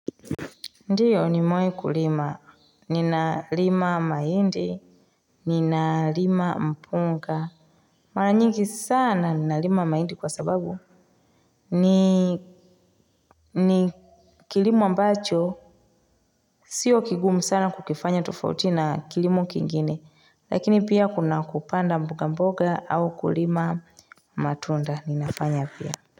Ndiyo niwai kulima nina lima maindi nina lima mpunga mara nyigi sana nina lima maindi kwa sababu ni ni kilimu ambacho sio kigumu sana kukifanya tofauti na kilimu kingine lakini pia kuna kupanda mboga mboga au kulima matunda ninafanya pia.